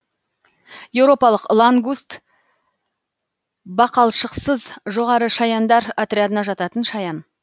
еуропалық лангуст бақалшықсыз жоғары шаяндар отрядына жататын шаян